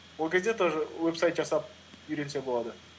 ол кезде тоже вебсайт жасап үйренсе болады